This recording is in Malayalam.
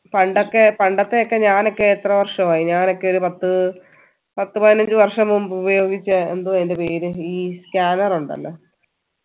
പണ്ടൊക്കെ പണ്ടത്തെ ഒക്കെ ഞാനൊക്കെ എത്ര വർഷമായി ഞാനൊക്കെ ഒരു പത്ത് പത്ത് പതിനഞ്ചു വര്‍ഷം മുമ്പ് ഉപയോഗിച്ച എന്തോ അതിന്റെ പേര് ഈ scanner ഉണ്ടല്ലോ